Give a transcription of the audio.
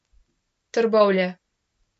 Trbovlje.